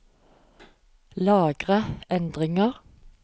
Lagre endringer